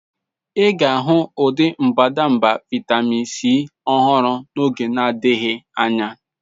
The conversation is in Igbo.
Ị ga-ahụ ụdị mbadamba vitamin C ọhụrụ n'oge na-adịghị anya.